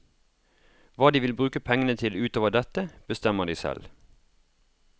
Hva de vil bruke pengene til utover dette, bestemmer de selv.